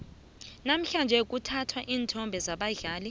namhlanje kuthathwa iinthombe zabadlali